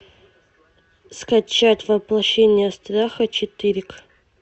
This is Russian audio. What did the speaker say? скачать воплощение страха четыре к